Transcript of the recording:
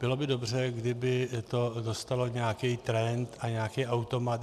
Bylo by dobře, kdyby to dostalo nějaký trend a nějaký automat.